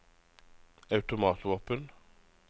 automatvåpen